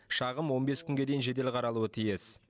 шағым он бес күнге дейін жедел қаралуы тиіс